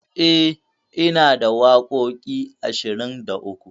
E, inada waƙoƙi ashirin da uku.